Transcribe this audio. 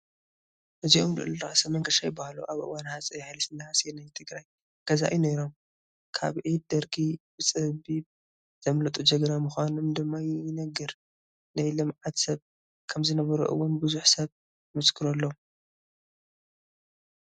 እዚኦም ልዑል ራእሲ መንገሻ ይበሃሉ፡፡ ኣብ እዋን ሃፀይ ሃይለስላሴ ናይ ትግራይ ገዛኢ ነይሮም፡፡ ካብ ኢድ ደርጊ ብፀቢብ ዘምለጡ ጀግና ምዃኖም ድማ ይንገር፡፡ ናይ ልምዓት ሰብ ከምዝነበሩ እውን ብዙሕ ሰብ ይምስክረሎም፡፡